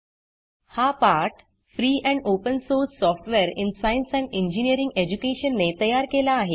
हा पाठ free and open source software in science and engineering education ने तयार केला आहे